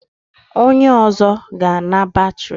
Onye ọzọ ga-ana batrị.